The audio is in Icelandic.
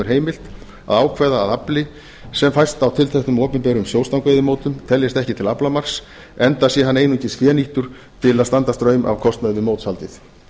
heimilt að ákveða að afli sem fæst á tilteknum opinberum sjóstangveiðimótum teljist ekki til aflamarks enda sé hann einungis fénýttur til að standa straum af kostnaði við mótshaldið